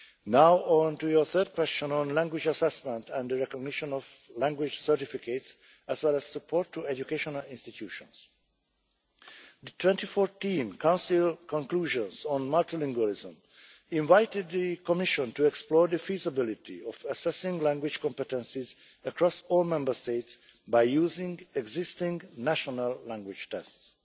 Now, on your third question on language assessment and the recognition of language certificates, as well as support to educational institutions in the 2014 Council conclusions on multilingualism the Commission was invited to explore the feasibility of assessing language competences across all Member States by using existing national language tests.